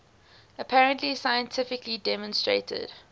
apparently scientifically demonstrated